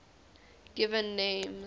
given names